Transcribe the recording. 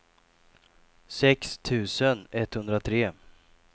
sex tusen etthundratre